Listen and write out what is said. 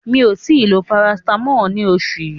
Mi ò tí ì lo Parasitamọ́ọ̀ ní oṣù yí.